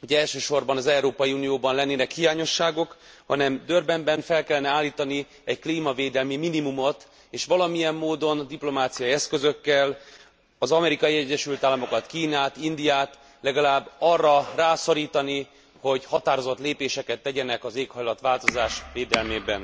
hogy elsősorban az Európai Unióban lennének hiányosságok, hanem Durbanben fel kellene állítani egy klímavédelmi minimumot, és valamilyen módon diplomáciai eszközökkel az Amerikai Egyesült Államokat, Kínát, Indiát legalább arra rászorítani, hogy határozott lépéseket tegyenek az éghajlatváltozás védelmében.